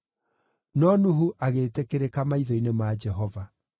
No Nuhu agĩĩtĩkĩrĩka maitho-inĩ ma Jehova.